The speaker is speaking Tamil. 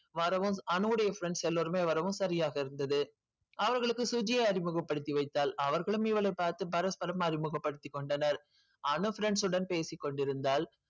வரவும் அனுவொடைய friends எல்லோருமே வரவும் சரியாக இருந்தது. அவர்களுக்கு சுஜியை அறிமுகப்படுத்திவைத்தாள் அவர்களும் இவளை பார்த்து பரஸ்பலும் அறிமுகப்படுத்திக் கொண்டனர். அனு friends உடன் பேசிக் கொண்டிருந்தாள்